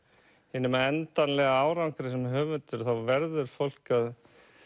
hinum endanlega árangri sem höfundur þá verður fólk að